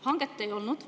Hanget ei olnud.